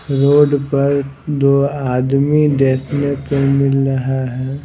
Road पर दो आदमी देखने को मिल रहा हैं ।